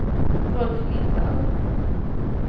Rolf Lindahl